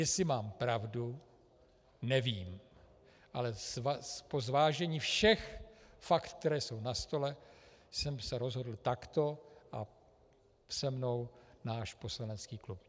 Jestli mám pravdu, nevím, ale po zvážení všech fakt, která jsou na stole, jsem se rozhodl takto a se mnou náš poslanecký klub.